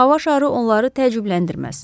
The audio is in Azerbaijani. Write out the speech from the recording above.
Hava şarı onları təcrübləndirməz.